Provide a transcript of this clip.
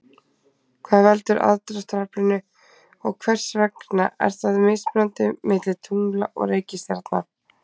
hvað veldur aðdráttaraflinu og hvers vegna er það mismunandi milli tungla og reikistjarna